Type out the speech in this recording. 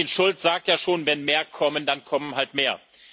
Martin Schulz sagt ja schon Wenn mehr kommen, dann kommen halt mehr.